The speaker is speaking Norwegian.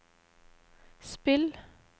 spill